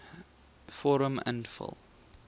vorm invul